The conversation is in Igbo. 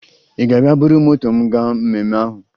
Ị ga-abịa buru moto m gaa mmemme ahụ?